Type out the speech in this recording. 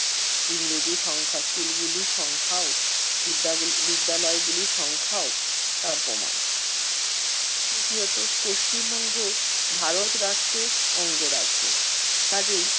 ইংরেজিও সংখ্যা স্কুলগুলির সংখ্যাও বিদ্যাগুলি~ বিদ্যালয়গুলির সংখ্যাও তার প্রমাণ। তৃতীয়ত, পশ্চিম-বঙ্গ ভারত রাষ্ট্রের অঙ্গরাজ্য। কাজেই